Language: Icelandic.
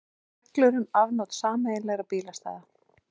Reglur um afnot sameiginlegra bílastæða.